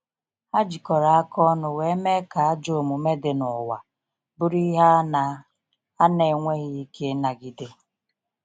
Ha jikọrọ aka ọnụ wee mee ka ajọ omume dị n’ụwa bụrụ ihe a na a na enweghi ike ịnagide.